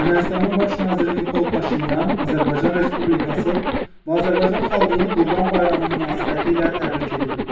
Ermənistanın baş naziri Nikol Paşinyan Azərbaycan Respublikası və Azərbaycan xalqını Qurban Bayramı münasibətilə təbrik edib.